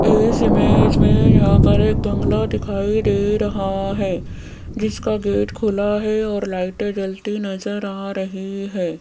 इस इमेज में यहां पर एक बंगला दिखाई दे रहा हैं जिसका गेट खुला है और लाइटे जलती नजर आ रही हैं।